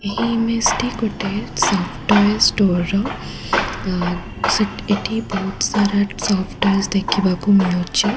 ଏହି ମେସଟି ଗୋଟିଏ ସଫ୍ଟ ଟଏ ଷ୍ଟୋରର ଅ ଏଠି ବହୁତ ସାରା ସଫ୍ଟ ଟଏ ଦେଖୀବାକୁ ମିଳୁଛି।